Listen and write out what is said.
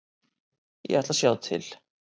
Ég ætla að sjá til.